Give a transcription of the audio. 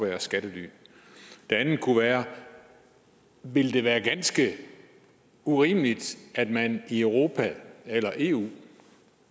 være skattely det andet kunne være ville det være ganske urimeligt at man i europa eller i eu